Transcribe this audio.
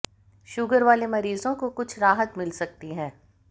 sugar वाले मरीजों को कुछ राहत मिल सकती है